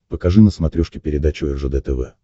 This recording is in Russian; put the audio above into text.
покажи на смотрешке передачу ржд тв